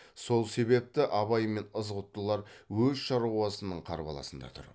сол себепті абай мен ызғұттылар өз шаруасының қарбаласында тұр